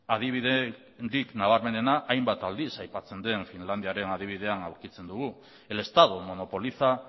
adibiderik nabarmenena hainbat aldiz aipatzen den finlandiaren adibidean aurkitzen dugu el estado monopoliza